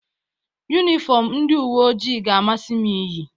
Yunifọmụ ndị uweojii ga-amasị m iyi.